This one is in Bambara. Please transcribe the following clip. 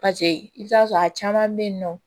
pase i bi t'a sɔrɔ a caman be yen nɔ